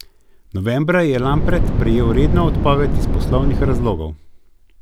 Novembra je Lampret prejel redno odpoved iz poslovnih razlogov.